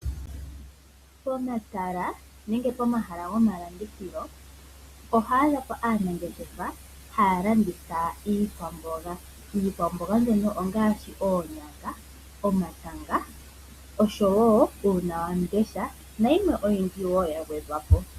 Pomatala nenge pomahala gomalandithilo oho adha po aanangeshefa haya landitha iikwamboga. Iikwamboga mbono ongaashi oonyanga, omatama oshowo uunawamundesha nayimwe oyindji wo ya gwedhwa po.